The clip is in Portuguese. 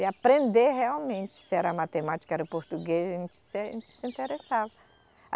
E aprender realmente, se era matemática, se era português, a gente se, a gente se interessava.